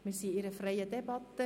Wir führen eine freie Debatte.